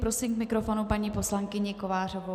Prosím k mikrofonu paní poslankyni Kovářovou.